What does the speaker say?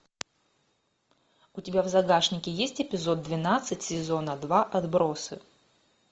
у тебя в загашнике есть эпизод двенадцать сезона два отбросы